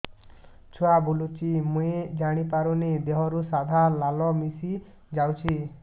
ଛୁଆ ବୁଲୁଚି ମୁଇ ଜାଣିପାରୁନି ଦେହରୁ ସାଧା ଲାଳ ମିଶା ଯାଉଚି